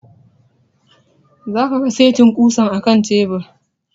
Za ka ga setin ƙusan a kan tebur